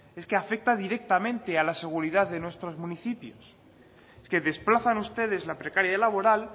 es que afecta directamente a la seguridad de nuestros municipios es que desplazan ustedes la precariedad laboral